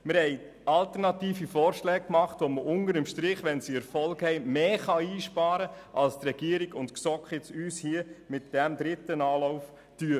Wir haben alternative Vorschläge unterbreitet, mit denen im Erfolgsfall unter dem Strich mehr eingespart werden kann, als es die Regierung und die GSoK mit diesem dritten Anlauf tun.